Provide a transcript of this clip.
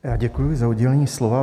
Já děkuji za udělení slova.